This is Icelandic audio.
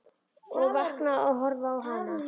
Og vakna og horfi á hana.